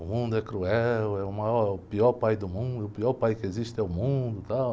O mundo é cruel, é o maior, o pior pai do mundo, o pior pai que existe é o mundo, tal.